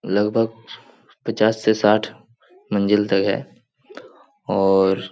लगभग पचास से साठ मंजिल तक है और --